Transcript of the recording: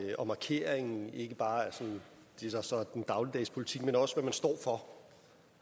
og markeringen af ikke bare den dagligdags politik men også hvad man står for